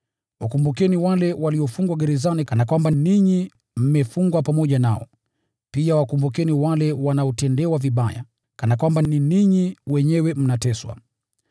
Wakumbukeni wale waliofungwa gerezani kana kwamba ninyi mmefungwa pamoja nao. Pia wakumbukeni wale wanaotendewa vibaya, kana kwamba ni ninyi wenyewe mnateswa.